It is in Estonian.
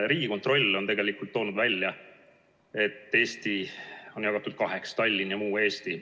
Riigikontroll on toonud välja, et Eesti on jagatud kaheks: Tallinn ja muu Eesti.